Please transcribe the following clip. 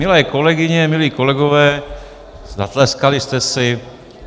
Milé kolegyně, milí kolegové, zatleskali jste si.